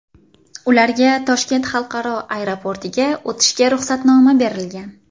Ularga Toshkent xalqaro aeroportiga o‘tishga ruxsatnoma berilgan.